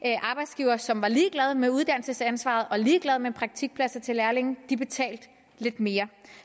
arbejdsgivere som var ligeglade med uddannelsesansvaret og ligeglade med praktikpladser til lærlinge betalte lidt mere